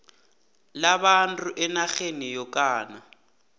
labantu enarheni yokana